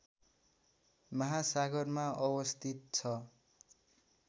महासागरमा अवस्थित छ